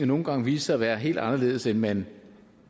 nogle gange vise sig at være helt anderledes end man